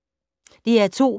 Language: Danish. DR2